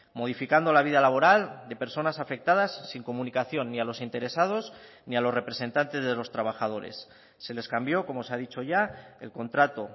modificando la vida laboral de personas afectadas sin comunicación ni a los interesados ni a los representantes de los trabajadores se les cambió como se ha dicho ya el contrato